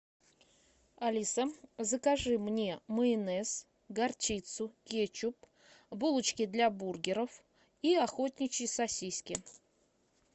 алиса закажи мне майонез горчицу кетчуп булочки для бургеров и охотничьи сосиски